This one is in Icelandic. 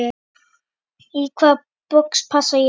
Í hvaða box passa ég?